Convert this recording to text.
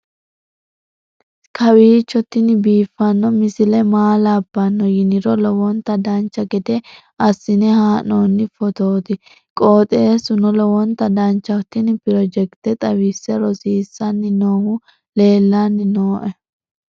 kowiicho tini biiffanno misile maa labbanno yiniro lowonta dancha gede assine haa'noonni foototi qoxeessuno lowonta danachaho. tini projecte xawise rosiisanni noohu leellanni nooe